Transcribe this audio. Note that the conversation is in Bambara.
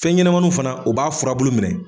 Fɛnɲɛnamaninw fana u b'a furabulu minɛ.